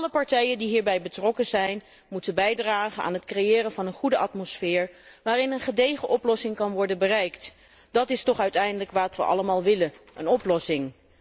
Alle partijen die hierbij betrokken zijn moeten bijdragen aan het creëren van een goede atmosfeer waarin een gedegen oplossing kan worden bereikt. Dat is toch uiteindelijk wat wij allemaal willen, een oplossing.